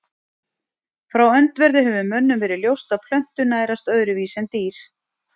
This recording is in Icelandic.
Frá öndverðu hefur mönnum verið ljóst að plöntur nærast öðruvísi en dýr.